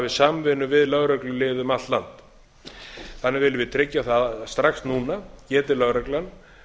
samvinnu við lögreglulið um allt land þannig viljum við tryggja það strax núna geti lögreglan